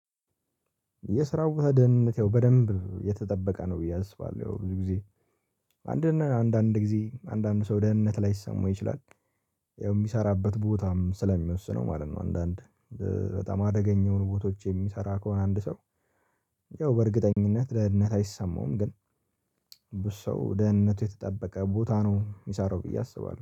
የስራው ቦታ ደህንነት ያው በደንብ የተጠበቀ ነው። ብዬ አስባለሁ ብዙ ጊዜ አንድና አንድ አንድ ጊዜ አንድ አንድ ሰው ደህንነት ላይሰማው ይችላል። ያው የሚሰራበት ቦታም ስለሚወስነው ማለት ነው። አንዳንድ በጣም አደገኛው የሆኑ ቦታዎች የሚሰራ ከሆነ አንድ ሰው ያው በእርግጠኝነት ደህንነት አይሰማውም። ግን ብዙ ሰው ደህንነቱ የተጠበቀ ቦታ ነው የሚሰራው ብዬ አስባለሁ